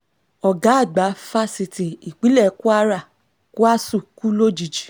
ọ̀gá àgbà fáṣítì ìpínlẹ̀ kwara kwásù kú lójijì